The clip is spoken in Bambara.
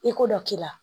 I ko dɔ k'i la